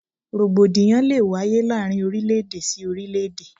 Rògbòdìyàn lé e wáyé láàárín orílẹ̀-èdè sí orílẹ̀-èdè.